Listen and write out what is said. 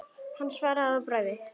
Hann svaraði að bragði.